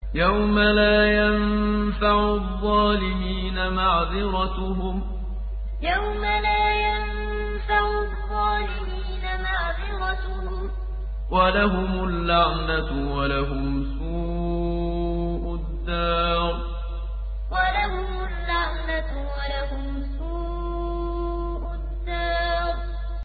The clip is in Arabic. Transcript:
يَوْمَ لَا يَنفَعُ الظَّالِمِينَ مَعْذِرَتُهُمْ ۖ وَلَهُمُ اللَّعْنَةُ وَلَهُمْ سُوءُ الدَّارِ يَوْمَ لَا يَنفَعُ الظَّالِمِينَ مَعْذِرَتُهُمْ ۖ وَلَهُمُ اللَّعْنَةُ وَلَهُمْ سُوءُ الدَّارِ